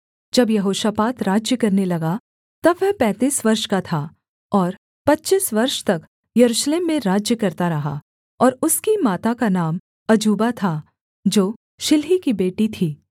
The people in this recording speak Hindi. जब यहोशापात राज्य करने लगा तब वह पैंतीस वर्ष का था और पच्चीस वर्ष तक यरूशलेम में राज्य करता रहा और उसकी माता का नाम अजूबा था जो शिल्ही की बेटी थी